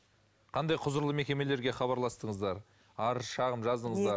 қандай құзырлы мекемелерге хабарластыңыздар арыз шағым жаздыңыздар